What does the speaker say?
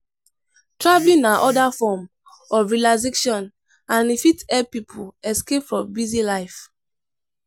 Traveling na oda form of relaxation and e fit help pipo escape from busy life